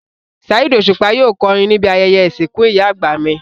Saheed Osupa yóò kọrin níbi ayẹyẹ ìsìnkú ìyá àgbà mi